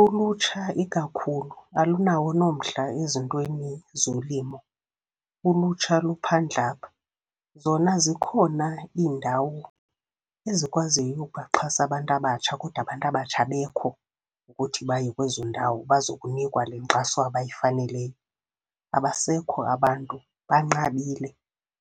Ulutsha ikakhulu, alunawo nomdla ezintweni zolimo. Ulutsha luphandle apha. Zona zikhona iindawo ezikwaziyo ukubaxhasa abantu abatsha, kodwa abantu abatsha abekho ukuthi baye kwezo ndawo, bazokunikwa le nkxaso abayifaneleyo. Abasekho abantu, banqabile